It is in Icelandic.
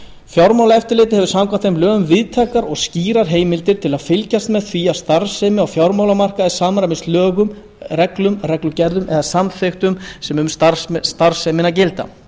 fjármálaeftirlitið hefur samkvæmt þeim lögum víðtækar og skýrar heimildir til að fylgjast með því að starfsemi á fjármálamarkaði samræmist lögum reglum reglugerðum eða samþykktum sem um starfsemina gilda